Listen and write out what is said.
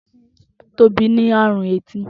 Tobi ni arun eti.